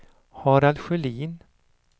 Harald Sjölin